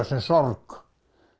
sem sorg